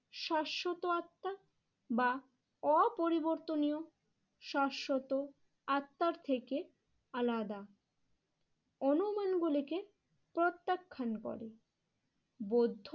শ্বাশ্বত আত্মা বা অপরিবর্তনীয় শ্বাশ্বত আত্মার থেকে আলাদা অনুমানগুলিকে প্রত্যাখ্যান করে। বৌদ্ধ